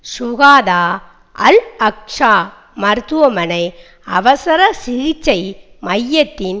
சுகாதா Al Aqsa மருத்துவமனை அவசர சிகிச்சை மையத்தின்